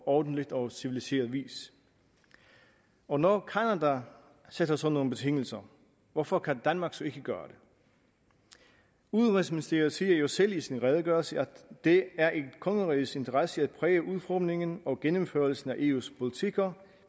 ordentlig og civiliseret vis og når canada sætter sådan nogle betingelser hvorfor kan danmark så ikke gøre det udenrigsministeriet siger jo selv i sin redegørelse at det er i kongerigets interesse at præge udformningen og gennemførelsen af eus politikker